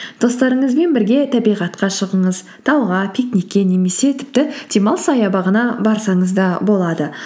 достарыңызбен бірге табиғатқа шығыңыз тауға пикникке немесе тіпті демалыс саябағына барсаңыз да болады